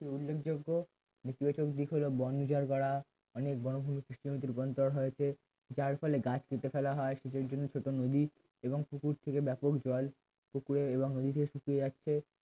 উল্লেখযোগ্য নীতিবাচক দিক হলো বন উজার করা অনেক বনভূমি কৃষি জমিতে রূপান্তর হয়েছে যার ফলে গাছ কেটে ফেলা হয় সেচের জন্য ছোট নদী এবং পুকুর থেকে ব্যাপক জল পুকুরে এবং নদীতে শুকিয়ে যাচ্ছে